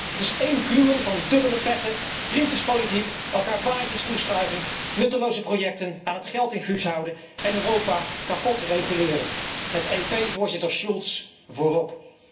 Het is één kluwen van dubbele petten, vriendjespolitiek, elkaar baantjes toeschuiven, nutteloze projecten aan het geldinfuus houden en Europa kapot reguleren, met EP voorzitter Schultz voorop.